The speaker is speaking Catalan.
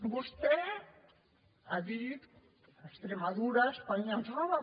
vostè ha dit extremadura espanya ens roba